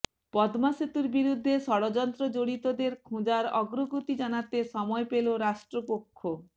পদ্মাসেতুর বিরুদ্ধে ষড়যন্ত্র জড়িতদের খোঁজার অগ্রগতি জানাতে সময় পেল রাষ্ট্রপক্ষ